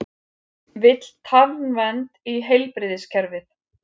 Vill tannvernd í heilbrigðiskerfið